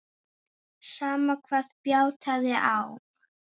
Sama hvað bjátaði á.